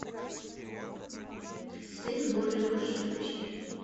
сын божий можешь включить